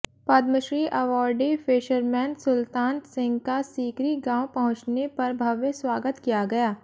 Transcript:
Padmashri awardee fisherman Sultan Singh का सीकरी गांव पहुंचने पर भव्य स्वागत किया गया